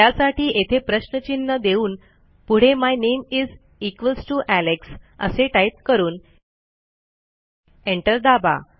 त्यासाठी येथे प्रश्नचिन्ह देऊन पुढे my name is equals to Alex असे टाईप करून एंटर दाबा